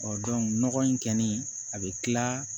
nɔgɔ in kɔni a bɛ tila